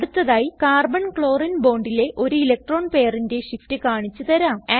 അടുത്തതായി carbon ക്ലോറിനെ bondലെ ഒരു ഇലക്ട്രോൺ പെയറിന്റെ shift കാണിച്ച് തരാം